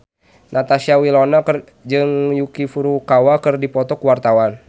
Natasha Wilona jeung Yuki Furukawa keur dipoto ku wartawan